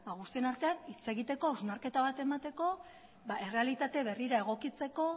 guztion artean hitz egiteko hausnarketa bat emateko errealitate berrira egokitzeko